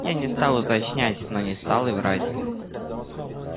я не стал уточнять но не стал и врать